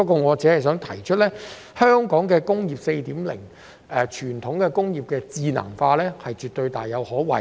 我只想指出，香港"工業 4.0" 推動的傳統工業智能化大有可為。